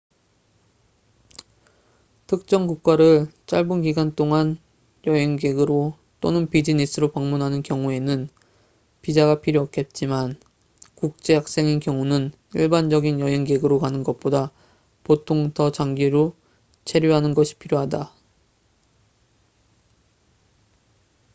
특정 국가를 짧은 기간 여행객으로 또는 비즈니스로 방문하는 경우에는 비자가 필요 없겠지만 국제 학생인 경우는 일반적인 여행객으로 가는 것보다 보통 더 장기 체류하는 것이 필요하다